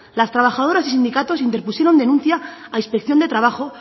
las trabajadoras y sindicatos interpusieron denuncia a inspección de trabajo